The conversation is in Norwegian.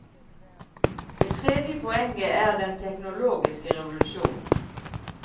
Det tredje poenget er den teknologiske revolusjonen.